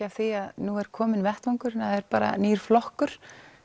að því að nú er kominn vettvangur það er nýr flokkur